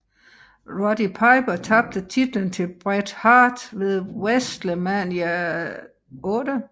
Roddy Piper tabte titlen til Bret Hart ved WrestleMania VIII